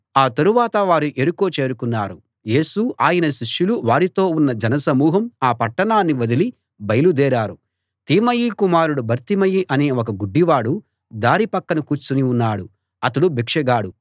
ఆ తరువాత వారు యెరికో చేరుకున్నారు యేసు ఆయన శిష్యులు వారితో ఉన్న జనసమూహం ఆ పట్టణాన్ని వదిలి బయలుదేరారు తీమయి కుమారుడు బర్తిమయి అనే ఒక గుడ్డివాడు దారి పక్కన కూర్చుని ఉన్నాడు అతడు భిక్షగాడు